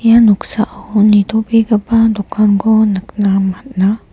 ia noksao nitobegipa dokanko nikna man·a.